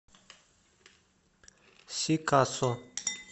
сикасо